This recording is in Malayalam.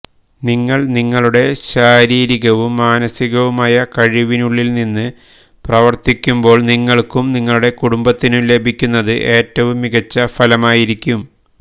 നിങ്ങൾ നിങ്ങളുടെ ശാരീരികവും മാനസികവുമായ കഴിവിനുള്ളിൽനിന്ന് പ്രവർത്തിക്കുമ്പോൾ നിങ്ങൾക്കും നിങ്ങളുടെ കുടുംബത്തിനും ലഭിക്കുന്നത് ഏറ്റവും മികച്ച ഫലമായിരിക്കും